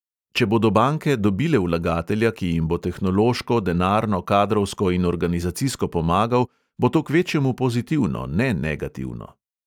Če bodo banke dobile vlagatelja, ki jim bo tehnološko, denarno, kadrovsko in organizacijsko pomagal, bo to kvečjemu pozitivno, ne negativno.